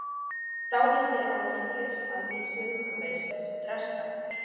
Dálítið ágengir að vísu, þú veist, stressaðir.